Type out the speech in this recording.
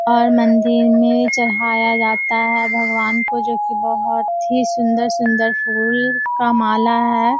और मंदिर में चढ़ाया जाता है भगवान को जो कि बहुत ही सुंदर-सुंदर फूल का माला है।